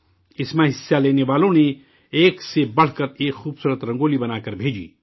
اس میں حصہ لینے والوں نے ایک سے بڑھ کر ایک خوبصورت رنگولی بنا کر بھیجی